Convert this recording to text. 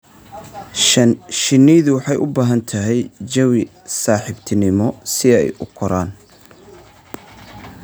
Shinnidu waxay u baahan tahay jawi saaxiibtinimo si ay u koraan.